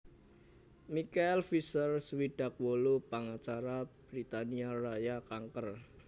Michael Fisher swidak wolu pangacara Britania Raya kanker